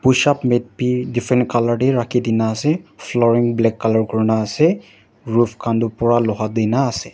push up mat bi different color te rakhi dina ase flooring black colour kurina ase roof khan toh pura loha tina ase.